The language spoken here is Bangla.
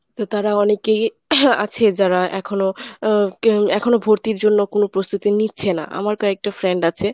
তো তারা অনেকেই আছে যারা এখনো আহ এখনো ভর্তির জন্য কোনো প্রস্তুতি নিচ্ছে না আমার কয়েকটা friend আছে।